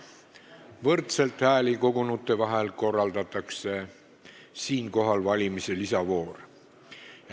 Võrdselt hääli kogunute vahel korraldatakse valimise lisavoor.